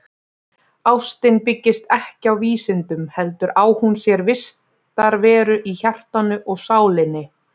Ástin byggist ekki á vísindum heldur á hún sér vistarveru í hjartanu og sálinni.